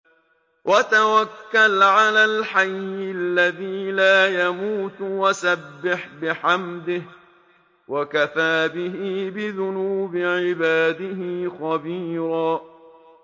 وَتَوَكَّلْ عَلَى الْحَيِّ الَّذِي لَا يَمُوتُ وَسَبِّحْ بِحَمْدِهِ ۚ وَكَفَىٰ بِهِ بِذُنُوبِ عِبَادِهِ خَبِيرًا